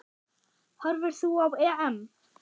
Horfir þú á EM?